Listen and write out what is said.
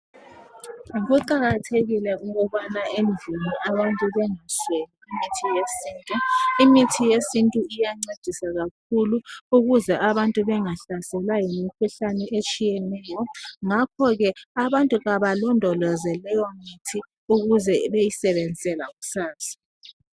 Kuqakathekile ukubana endlini abantu bengasweli imithi yesintu, Imithi yesintu iyancedisa kakhulu ukuze abantu bengahlaselwa yimikhuhlane etshiyeneyo ngakho ke abantu kabalondoloze leyo mithi ukuze beyisebenzise lakusasa.